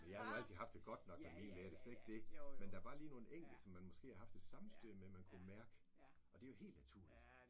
Jeg har nu altid haft det godt nok med mine lærere det slet ikke det men der bare lige nogle enkelte som man måske har haft et sammenstød med man kunnet mærke og det jo helt naturligt